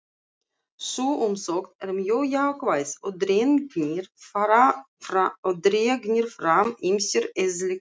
Sú umsögn er mjög jákvæð og dregnir fram ýmsir eðliskostir.